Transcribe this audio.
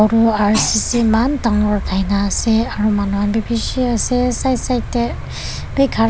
aro ririci eman dangor uthai na ase aro manu khan bi bishi ase aro side side tae bi khara--